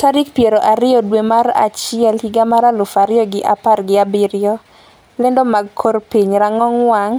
tarik piero ariyo dwe mar achiel higa mar aluf ariyo gi apar gi abiriyo . Lando mag kor piny rang'ong wang'